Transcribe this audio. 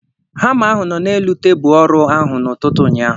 Hama ahụ nọ n'elu tebụl ọrụ ahụ n'ụtụtụ ụnyaahụ.